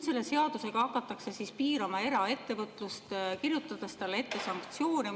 Selle seadusega hakatakse piirama eraettevõtlust, kirjutades talle ette sanktsioone.